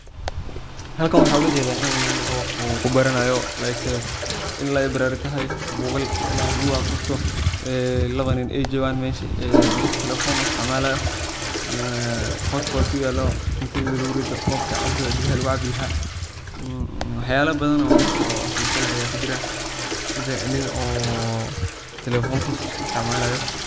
Halkan waxa ogajeda inii nin uu kubaranayo like in library tahay bugag luguaqristo lawa niin ey joogaan mesha mid telefon uisticmalayo hotpot uyalo cuntada lugurito kobki biyaha lugucabi laha waxayal badan oo xisa leh aya mesha kajira sida niin oo telefonkisa isticmalayo.